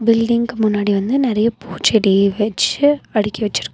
Building முன்னாடி வந்து நெறைய பூச்செடி வெச்சு அடுக்கி வச்சிருக்.